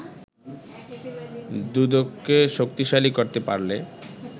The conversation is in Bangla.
দুদককে শক্তিশালী করতে পারলে